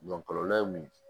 kɔlɔlɔ ye mun ye